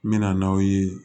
N bɛ na n' aw ye